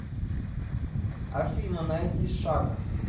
афина найди шакка